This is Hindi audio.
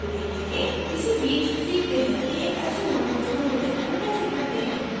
इसी बीच सीखते हैं कि एक अच्छे modules का मूल्यांकन कैसे करते हैं